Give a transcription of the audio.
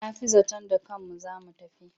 Na fi zaton da kanmu za mu tafi.